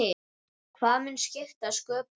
Hvað mun skipta sköpum?